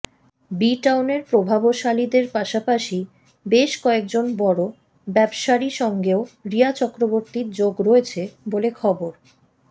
B টাউনের প্রভাবশালীদের পাশাপাশি বেশ কয়েকজন বড় ব্যবসাীর সঙ্গেও রিয়া চক্রবর্তীর যোগ রয়েছে বলে খবর